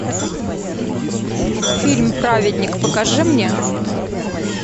фильм праведник покажи мне